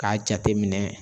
K'a jateminɛ